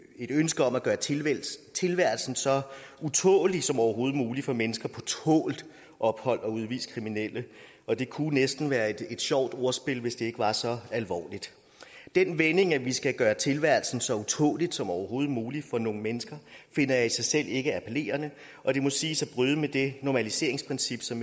ønske om at gøre tilværelsen tilværelsen så utålelig som overhovedet muligt for mennesker på tålt ophold og udviste kriminelle og det kunne næsten være et sjovt ordspil hvis ikke det var så alvorligt den vending at vi skal gøre tilværelsen så utålelig som overhovedet muligt for nogle mennesker finder jeg i sig selv ikke appellerende og det må siges at bryde med det normaliseringsprincip som